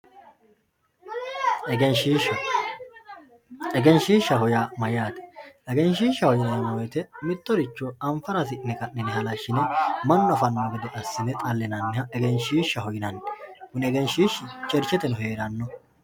egenshiishsha egenshiishaho yaa mayyate egenshiishaho yineemmo wote mittoricho anfara yine ka'ne halashshine mannu afanno gede assine xallinanniha egenshiishshaho yinanni kuni egenshiishi chercheteno heeranno.